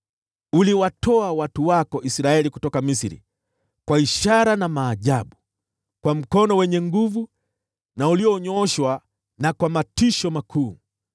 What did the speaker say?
Uliwatoa watu wako Israeli kutoka Misri kwa ishara na maajabu, kwa mkono wenye nguvu na ulionyooshwa na kwa matisho makuu.